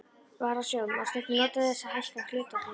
Varasjóð má stundum nota til þess að hækka hlutafé.